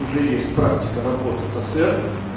уже есть практика работы тосэр